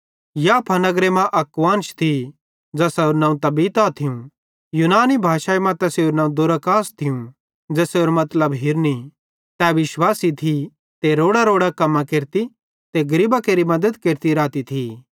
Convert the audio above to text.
याफा नगरे मां अक कुआन्श थी ज़ेसारू नवं तबीता थियूं यूनानी भाषाई तैसेरू दोरकास थियूं ज़ेसेरो मतलब हिरनी तै विश्वासी थी ते रोड़ांरोड़ां कम्मां केरती ते गरीबां केरि मद्दत केरती थी